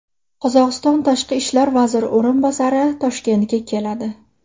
Qozog‘iston tashqi ishlar vaziri o‘rinbosari Toshkentga keladi.